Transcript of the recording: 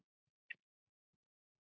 Ég skal vera alveg skýr.